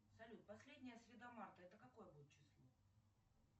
салют последняя среда марта это какое будет число